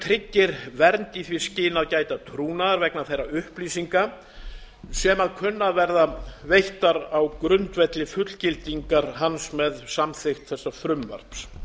tryggir vernd í því skyni að gæta trúnaðar vegna þeirra upplýsinga sem kunna að verða veittar á grundvelli fullgildingar hans með samþykkt þessa frumvarps